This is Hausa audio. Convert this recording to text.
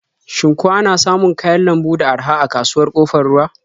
Shin ko ana samun kayan lambu da araha a kasuwar Ƙofar Ruwa?